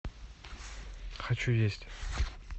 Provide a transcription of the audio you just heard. хочу есть